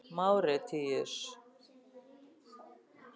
Máritíus